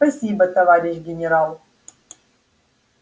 спасибо товарищ генерал